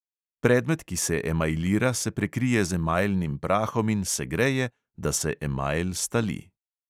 Predmet, ki se emajlira, se prekrije z emajlnim prahom in segreje, da se emajl stali.